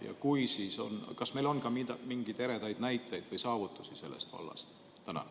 Ja kui on, siis kas meil on ka mingeid eredaid näiteid või saavutusi sellest vallast?